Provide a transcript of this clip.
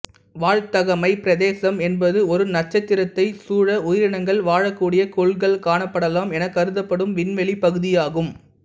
வாழ்தகமைப் பிரதேசம் என்பது ஒரு நட்சத்திரத்தைச் சூழ உயிரினங்கள் வாழக் கூடிய கோள்கள் காணப்படலாம் எனக் கருதப்படும் விண்வெளிப் பகுதியாகும்